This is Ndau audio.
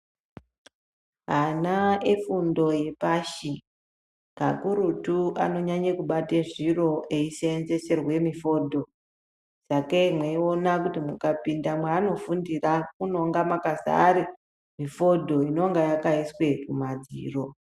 Ana efundo yepashi kakurutu anonyanye kubate zviro eizenzeserwe mifodho. Sakei mweiona kuti mukapinda mwaanofundira unonga makazare mifodho inonga yakaiswe kumadziro.